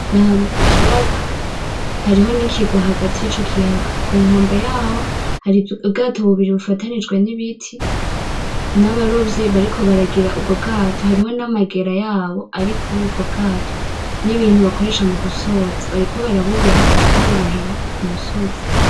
N'ahantu kukiyaga, hariho n'ikigwa hagati yico kiyaga, kunkombe yaho hari ubwato bubiri bufatanyijwe n'ibiti, n'abarovyi bariko baragira ubwo bwato, hariyo n'amagera yabo ari kurubwo bwato, n'ibintu bakoresha mugusoza, bariko barabuboha babubohera k'umusozi.